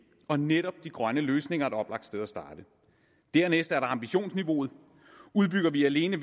og netop de grønne løsninger er et oplagt sted at starte dernæst er der ambitionsniveauet udbygger vi alene